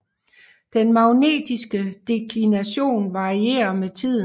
Den magnetiske deklination varierer med tiden